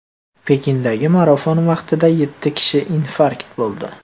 Pekindagi marafon vaqtida yetti kishi infarkt bo‘ldi.